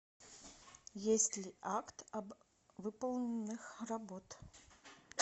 есть ли акт об выполненных работ